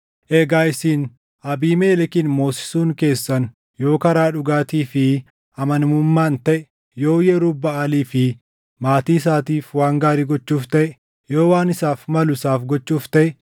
“Egaa isin Abiimelekin moosisuun keessan yoo karaa dhugaatii fi amanamummaan taʼe, yoo Yerub-Baʼaalii fi maatii isaatiif waan gaarii gochuuf taʼe, yoo waan isaaf malu isaaf gochuuf taʼe,